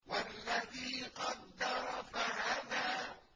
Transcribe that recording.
وَالَّذِي قَدَّرَ فَهَدَىٰ